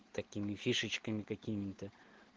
такими фишечками какими-то